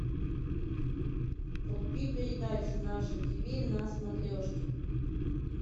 вруби передачу наше тв на смотрешке